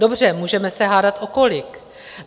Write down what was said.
Dobře, můžeme se hádat o kolik.